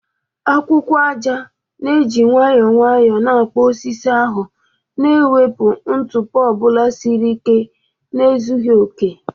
Akwụkwọ aja na-eji nwayọọ na-akpụ osisi ahụ, na-ewepụ ntụpọ ọ bụla siri ike na ezughị okè.